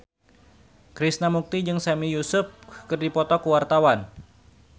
Krishna Mukti jeung Sami Yusuf keur dipoto ku wartawan